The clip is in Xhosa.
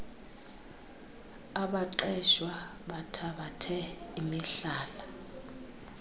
abaqeshwa bathabathe imihlala